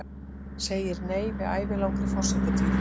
Segir nei við ævilangri forsetatíð